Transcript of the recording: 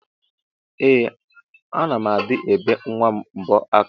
Ee ana m adi ebe nwam mbọ aka.